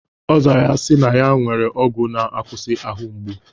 Ọ zara ya sị na ya nwere ọgwụ na-akwụsị ahụ mgbu.